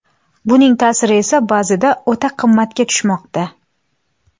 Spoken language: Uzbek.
Buning ta’siri esa ba’zida o‘ta qimmatga tushmoqda.